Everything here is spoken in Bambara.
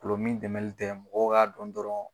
Gulɔmin dɛmɛli tɛ mɔgɔ k'a dɔn dɔrɔn.